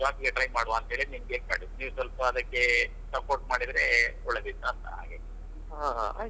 ಹಾ job ಗೆ try ಮಾಡುವಂತ ಹೇಳಿ ನಿಮ್ಗೆ ಮಾಡಿದ್ದು ನೀವ್ ಸ್ವಲ್ಪ ಅದಕ್ಕೇ support ಮಾಡಿದ್ರೆ ಒಳ್ಳೇದಿತಾಂತ ಹಾಗಾಗಿ.